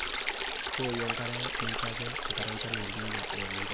wowuu enkare mincho ake enkare enchan e El nino eimin pesho